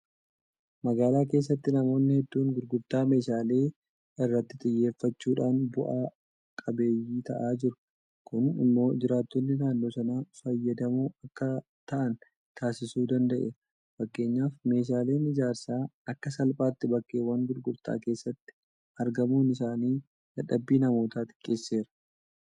Magaalaa keessatti namoonni hedduun gurgurtaa meeshaalee irratti xiyyeeffachuudhaan bu'a qabeeyyii ta'aa jiru. Kun immoo jiraattonni naannoo sanaa fayyadamoo akka ta'an taasisuu danda'eera. Fakkeenyaaf meeshaaleen ijaarsaa akka salphaatti bakkeewwan gurgurtaa keessatti argamuun isaanii dadhabbii namootaa xiqqeesseera.